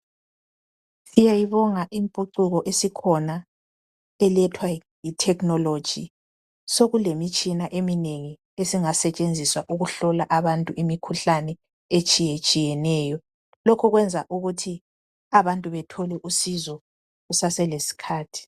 Siyayibonga impucuko esikhona elethwa yi technology. Sekulemitshina eminengi esingasetshenziswa ukuhlola abantu imikhuhlane etshiyetshiyeneyo. Lokhu kwenza ukuthi abantu bethole usizo kuseselesikhathi.